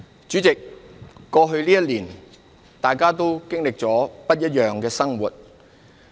主席，過去這一年，大家都經歷了很不一樣的生活。